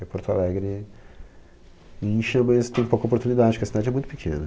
E Porto Alegre incha, mas tem pouca oportunidade, porque a cidade é muito pequena.